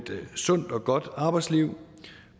sundt og godt arbejdsliv